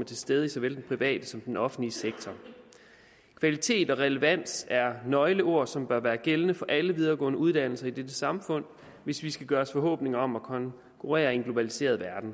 er til stede i såvel den private som den offentlige sektor kvalitet og relevans er nøgleord som bør være gældende for alle videregående uddannelser i dette samfund hvis vi skal gøre os forhåbninger om at konkurrere i en globaliseret verden